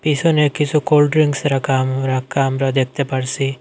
পিছনে কিছু কোলড্রিংকস রাখা আম রাখা আমরা দেখতে পারছি।